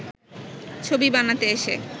ছবি বানাতে এসে